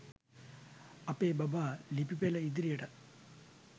අපේ බබා ලිපි පෙළ ඉදිරියටත්